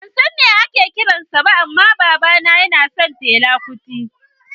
Ban san me ake kiran sa ba amma babana yana son fela kuti